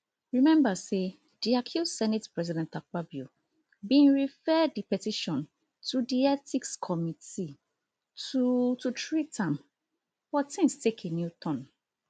rememba say di accused senate president akpabio bin refer di petition to di ethics committee to to treat am but tins take a new turn